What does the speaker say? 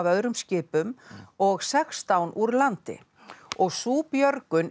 öðrum skipum og sextán úr landi og sú björgun